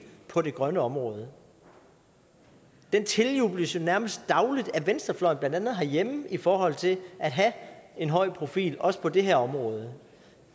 på det grønne område den tiljubles jo nærmest dagligt af venstrefløjen blandt andet herhjemme i forhold til at have en høj profil også på det her område